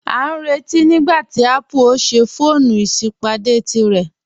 A n rẹ̀tí nígbàtí Apple o ṣè fọọ̀nù isípádé tírẹ̀.